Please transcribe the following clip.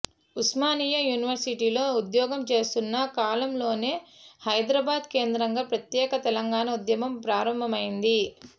ఉస్మానియా యూనివర్సిటీలో ఉద్యోగం చేస్తున్న కాలంలోనే హైదరాబాద్ కేంద్రంగా ప్రత్యేక తెలంగాణ ఉద్యమం ప్రారంభమయింది